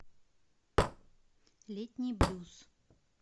летний блюз